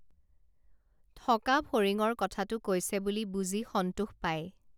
থকা ফৰিঙৰ কথাটো কৈছে বুলি বুজি সন্তোষ পাই